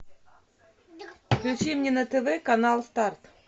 включи мне на тв канал старт